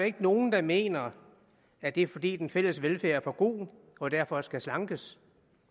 ikke nogen der mener at det er fordi den fælles velfærd er for god og derfor skal slankes